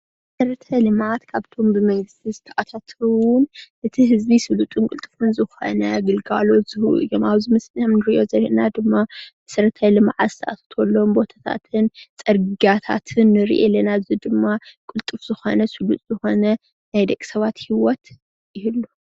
መሰረተ ልምዓት ካብቶም ብመንግስቲ ዝተኣታተዉ እቲ ህዝቢ ቅልጡፉን ስልጡን ዝኮነ ግልጋሎት ዝህቡ እዮም፡፡ ኣብዚ ምስሊ እንሪኦ ዘለና ድማ መሰረተ ልምዓት ዝተኣታተወሎም ቦታታትን ፅርግያታትን ንሪኢ ኣለና፡፡ እዚ ድማ ቅልጡፍ ዝኮነ ስሉጥ ዝኮነ ናይ ደቂ ሰባት ሂወት ይህልዎ፡፡